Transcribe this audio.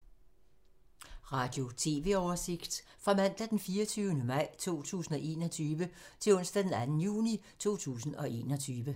Radio/TV oversigt fra mandag d. 24. maj 2021 til onsdag d. 2. juni 2021